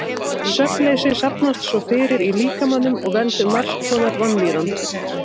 Svefnleysi safnast svo fyrir í líkamanum og veldur margs konar vanlíðan.